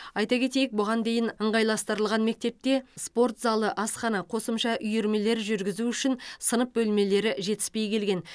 айта кетейік бұған дейін ыңғайластырылған мектепте спорт залы асхана қосымша үйірмелер жүргізу үшін сынып бөлмелері жетіспей келген